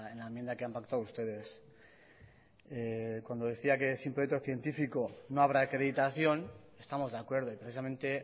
la enmienda que han pactado ustedes cuando decía que sin proyecto científico no habrá acreditación estamos de acuerdo y precisamente